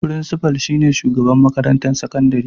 Firinsifal shi ne shugaba a makarantar sakandire.